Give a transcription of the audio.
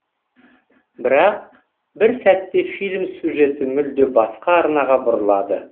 бірақ бір сәтте фильм сюжеті мүлде басқа арнаға бұрылады